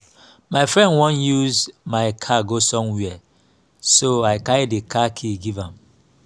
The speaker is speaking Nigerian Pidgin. my friend wan use my car go somewhere so i carry the car key give am